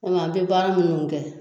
an bɛ baara minnu kɛ